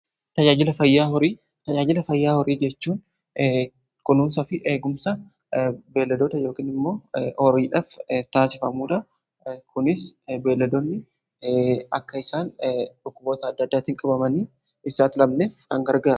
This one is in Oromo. tajaajila fayyaa horii jechuun kunuunsaa fi eegumsa beelladoota yookion immoo horiidhaaf taasifamuudha. kunis beelladoonni akka isaan dhukkuboota adda adaatiin qabamanii hin saaxilamneef gargaara.